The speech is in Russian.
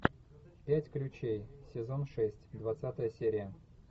пять ключей сезон шесть двадцатая серия